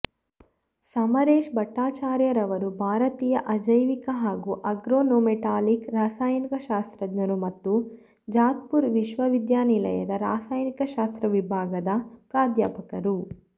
ಸಮರೇಶ್ ಭಟ್ಟಾಚಾರ್ಯರವರು ಭಾರತೀಯ ಅಜೈವಿಕ ಹಾಗೂ ಆರ್ಗನೊಮೆಟಾಲಿಕ್ ರಸಾಯನಶಾಸ್ತ್ರಜ್ಞರು ಮತ್ತು ಜಾದವ್ಪುರ ವಿಶ್ವವಿದ್ಯಾಲಯದ ರಸಾಯನಶಾಸ್ತ್ರ ವಿಭಾಗದ ಪ್ರಾಧ್ಯಾಪಕರು